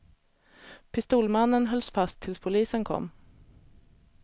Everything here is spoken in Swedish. Pistolmannen hölls fast tills polisen kom.